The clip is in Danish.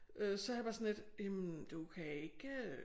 Øh så havde jeg det bare sådan lidt jamen du kan ikke